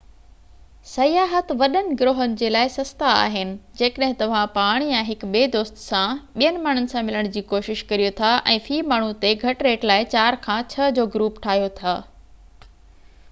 سياحت وڏن گروهن جي لاءِ سستا آهن جيڪڏهن توهان پاڻ يا هڪ ٻي دوست سان ٻين ماڻهن سان ملڻ جي ڪوشش ڪريو ٿا ۽ في ماڻهو تي گهٽ ريٽ لاءِ 4 کان 6 جو گروپ ٺاهيو ٿا